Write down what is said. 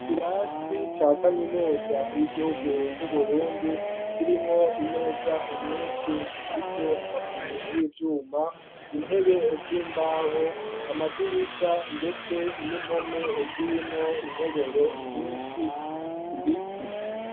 Kirasi ca kaminuza y'igihugu c'uburundi kirimwo imeza nyinshi zifise amaguru y'ivyuma intebe z'imbaho amadirisha, ndetse n'impome zirimwo intoboro nyinshi ibiti.